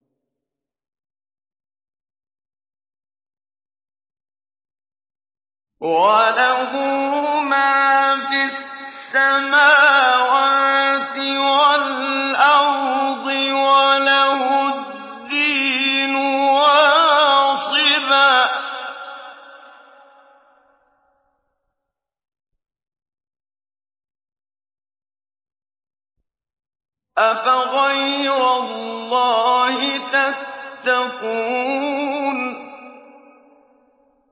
وَلَهُ مَا فِي السَّمَاوَاتِ وَالْأَرْضِ وَلَهُ الدِّينُ وَاصِبًا ۚ أَفَغَيْرَ اللَّهِ تَتَّقُونَ